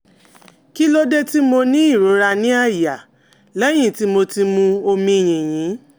Kí ló dé tí mo ní ìrora ní àyà lẹ́yìn tí mo ti mu omi yìnyín?